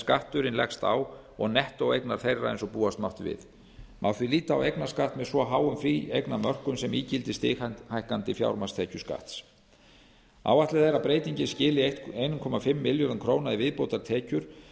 skatturinn leggst á og nettóeignar þeirra eins og búast mátti við má því líta á eignarskatt með svo háum fríeignarmörkum sem ígildi stighækkandi fjármagnstekjuskatts áætlað er að breytingin skili eins og hálft milljörðum króna í viðbótartekjur